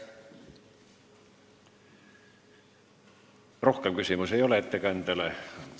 Rohkem küsimusi ettekandjale ei ole.